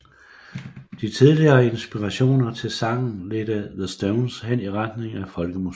De tidligere inspirationer til sangen ledte The Stones hen i retningen af Folkemusikken